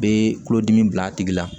Bɛ tulodimi bila a tigi la